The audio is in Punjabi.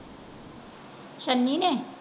ਸਨੀ ਨੇ।